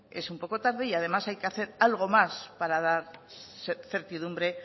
es un poco tarde y además hay que hacer algo más para dar certidumbre